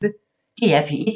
DR P1